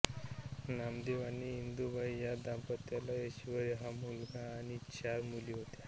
नामदेव आणि इंदूबाई या दांपत्याला ऐश्वर्य हा मुलगा आणि चार मुली होत्या